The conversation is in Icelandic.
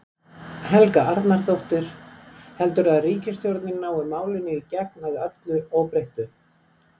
Helga Arnardóttir: Heldurðu að ríkisstjórnin nái málinu í gegn, að öllu óbreyttu?